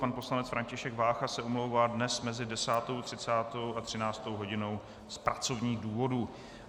Pan poslanec František Vácha se omlouvá dnes mezi 10.30 a 13. hodinou z pracovních důvodů.